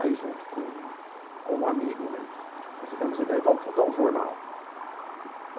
Aí, junto com com um amigo né, nós tivemos a ideia vamos fundar um jornal.